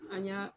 An y'a